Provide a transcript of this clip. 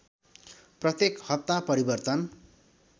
प्रत्येक हप्ता परिवर्तन